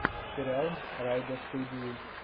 сериал райдостудии